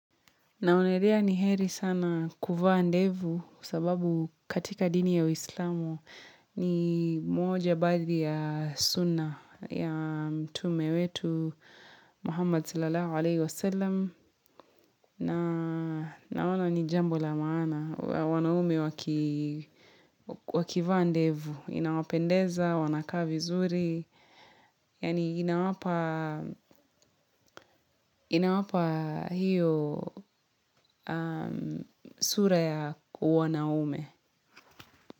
Naonelea ni heri sana kuvaa ndevu sababu katika dini ya uislamu ni moja baadhi ya suna ya mtume wetu Muhammad sallalahu alayhi wa sallam. Naona ni jambo la maana, wanaume wakiva ndevu, inawapendeza, wanakaa vizuri, yaani inawapa inawapa hiyo sura ya wanaume.